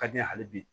Ka di n ye hali bi